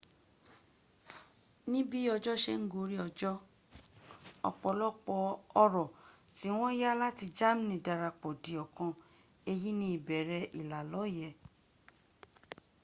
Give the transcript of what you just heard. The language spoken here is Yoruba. níbí ọjọ́ se ń gorí ọjọ́ ọ̀pọ̀lọpọ̀ ọ̀rọ̀ tí wọ́n yá láti germany dirapọ̀ di ọ̀kan. èyí ni ìbẹ̀rẹ̀ ìlàlọ́yẹ̀